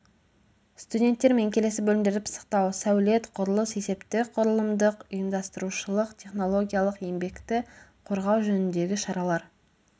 студенттермен келесі бөлімдерді пысықтау сәулет құрылыс есептік құрылымдық ұйымдастырушылық технологиялық еңбекті қорғау жөніндегі шаралар